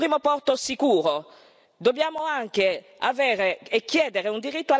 Dobbiamo anche avere e chiedere un diritto all'attracco e allo sbarco immediato.